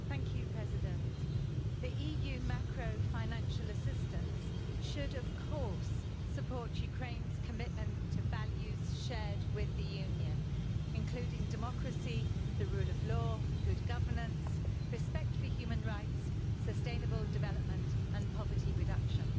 Madam President, EU macrofinancial assistance should, of course, support Ukraine's commitment to values shared with the Union, including democracy, the rule of law, good governance, respect for human rights, sustainable development and poverty reduction.